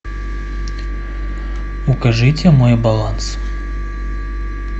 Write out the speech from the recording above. укажите мой баланс